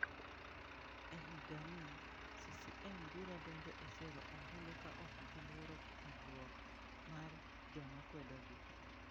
E higani, CCM biro donjo e sero ombulu ka ok giluoro kwedruok mar joma kwedogi.